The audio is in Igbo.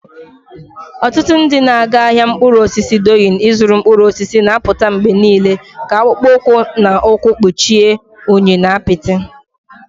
Ọtụtụ ndị na-aga ahịa mkpụrụ osisi Doyin ịzụrụ mkpụrụ osisi na-apụta mgbe niile ka akpụkpọ ụkwụ na ụkwụ kpuchie unyi na apịtị.